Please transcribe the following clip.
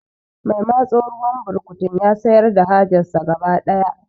Mai matso ruwan burkutun ya sayar da hajar sa gaba daya